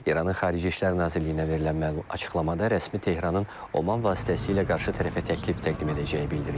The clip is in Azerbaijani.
İranın Xarici İşlər Nazirliyinə verilən açıqlamada rəsmi Tehranın Oman vasitəsilə qarşı tərəfə təklif təqdim edəcəyi bildirilir.